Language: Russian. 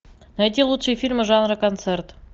найти лучшие фильмы жанра концерт